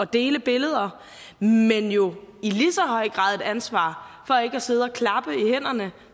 dele billeder men jo i lige så høj grad et ansvar for ikke at sidde og klappe i hænderne